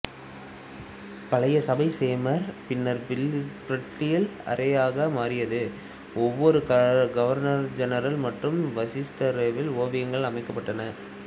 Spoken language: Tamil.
பழைய சபை சேம்பர் பின்னர் பில்லியர்ட்ஸ் அறையாக மாறியது ஒவ்வொரு கவர்னர்ஜெனரல் மற்றும் வைசிரோவியின் ஓவியங்களும் அமைக்கப்பட்டன